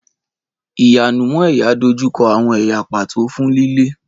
Ìwẹ̀nùmọ́ ẹ̀yà dojú kọ àwọn ẹ̀yà pàtó fún lílé.